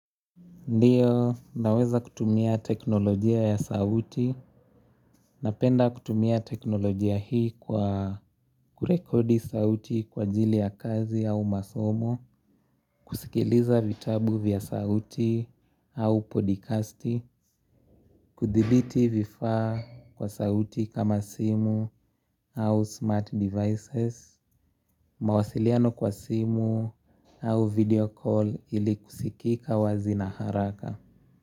Ndiyo, naweza kutumia teknolojia ya sauti. Napenda kutumia teknolojia hii kwa kurekodi sauti kwa ajili ya kazi au masomo. Kusikiliza vitabu vya sauti au podcasti. Kudiliti vifaa kwa sauti kama simu au smart devices. Mawasiliano kwa simu au video call ili kusikika wazi na haraka.